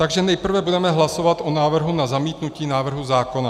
Takže nejprve budeme hlasovat o návrhu na zamítnutí návrhu zákona.